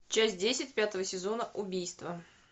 часть десять пятого сезона убийство